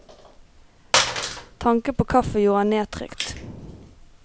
Tanken på kaffe gjorde ham nedtrykt.